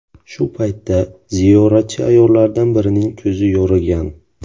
Shu paytda ziyoratchi ayollardan birining ko‘zi yorigan.